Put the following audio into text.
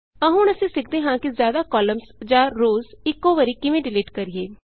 ਆਉ ਹੁਣ ਅਸੀਂ ਸਿੱਖਦੇ ਹਾਂ ਕਿ ਜ਼ਿਆਦਾ ਕਾਲਮਸ ਜਾਂ ਰੋਅਜ਼ ਇਕੋ ਵਾਰੀ ਕਿਵੇਂ ਡਿਲੀਟ ਕਰੀਏ